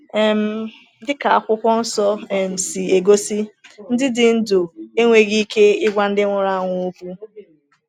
um Dịka Akwụkwọ Nsọ um si egosi, ndị dị ndụ enweghị ike ịgwa ndị nwụrụ anwụ okwu.